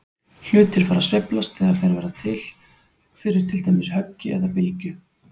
Hlutir fara að sveiflast þegar þeir verða fyrir til dæmis höggi eða bylgju.